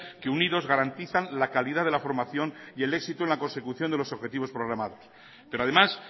que unidos garantizan la calidad de la formación y el éxito en la consecución de los objetivos programados pero además